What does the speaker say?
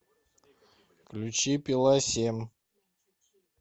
включи пила семь